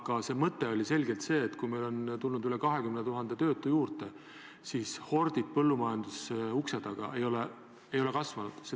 Aga minu mõte oli see, et kuigi meil on tulnud üle 20 000 töötu juurde, siis hordid põllumajanduse ukse taga ei ole kasvanud.